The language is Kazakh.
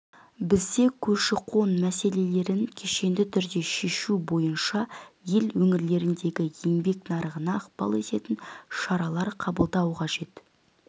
бізге көші-қон мәселелерін кешенді түрде шешу бойынша ел өңірлеріндегі еңбек нарығына ықпал ететін шаралар қабылдау қажет